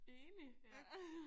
Enig ja